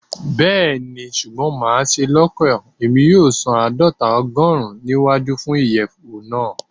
Bẹẹni, ṣugbọn maṣe lokan Emi yoo san aadọta ogorun ni iwaju fun iyẹwu naa